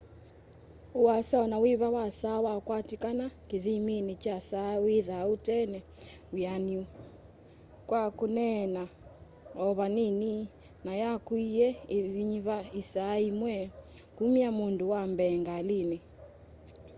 uasa onawĩva wa saa wakwatĩkana kĩthĩmĩnĩ kya saa wĩthaa ũtena wĩanĩũ kwa kũneena o vanĩnĩ na yakũĩe ĩĩnyĩva ĩsaa yĩmwe kũmya mũndũ wa mbee ngalĩnĩ